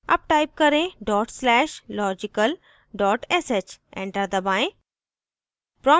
अब type करें dot slash logical sh enter दबाएं